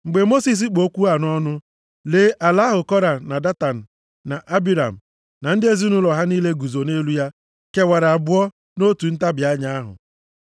Mgbe Mosis kpụ okwu a nʼọnụ ya, lee ala ahụ Kora, na Datan, na Abiram, na ndị ezinaụlọ ha niile guzo nʼelu ya kewara abụọ nʼotu ntabi anya ahụ,